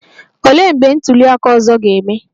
Olee mgbe ntuli aka ọzọ ga-eme?